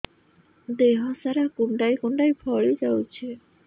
ଦେହ ସାରା କୁଣ୍ଡାଇ କୁଣ୍ଡାଇ ଫଳି ଯାଉଛି